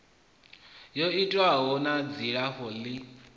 yo itwaho na dzilafho ḽi